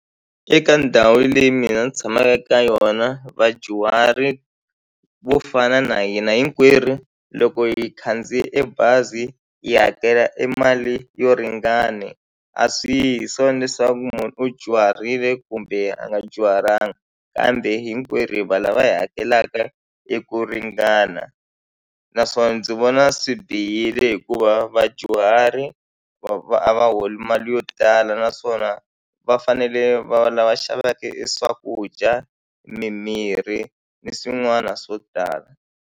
Eka ndhawu leyi mina ni tshamaka eka yona vadyuhari vo fana na hina hinkwerhu loko hi khandziya e bazi hi hakela e mali yo ringana a swi yi hi swona leswaku munhu u dyuharile kumbe a nga dyuhalanga kambe hinkwerhu valava hi hakelaka eku ringana naswona ndzi vona swi bihile hikuva vadyuhari a va holi mali yo tala naswona va fanele va va lava xaveka e swakudya mimirhi ni swin'wana swo tala.